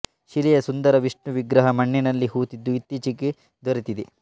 ಶಿಲೆಯ ಸುಂದರ ವಿಷ್ಣು ವಿಗ್ರಹ ಮಣ್ಣಿನಲ್ಲಿ ಹೂತಿದ್ದು ಇತ್ತೀಚಿಗೆ ದೊರೆತಿದೆ